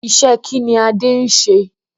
Iṣẹ́ kí ni Adé ń ṣe?